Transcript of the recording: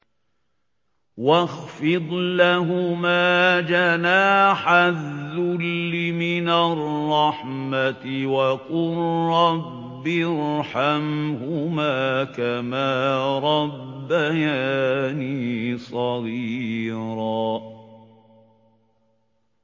وَاخْفِضْ لَهُمَا جَنَاحَ الذُّلِّ مِنَ الرَّحْمَةِ وَقُل رَّبِّ ارْحَمْهُمَا كَمَا رَبَّيَانِي صَغِيرًا